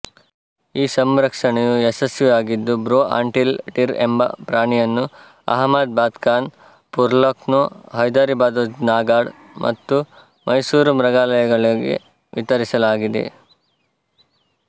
ಈ ಸಂರಕ್ಷಣೆಯು ಯಶಸ್ವಿಯಾಗಿದ್ದು ಬ್ರೋ ಆಂಟಿಲ್ ಡೀರ್ ಎಂಬ ಪ್ರಾಣಿಯನ್ನು ಅಹಮದಾಬಾದ್ಕಾನ್ ಪುರ್ಲಕ್ನೋ ಹೈದಿರಾಬಾದ್ಜುನಾಗಢ್ ಮತ್ತು ಮೈಸೂರು ಮೃಗಾಲಯಗಳಿಗೆ ವಿತರಿಸಲಾಗಿದೆ